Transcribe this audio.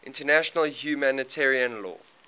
international humanitarian law